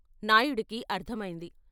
నాయుడికి అర్ధమైంది.